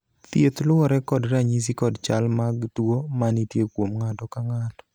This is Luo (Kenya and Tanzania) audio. thieth luwore kod ranyisi kod chal mag tuo manitie kuom ng'ato ka ng'ato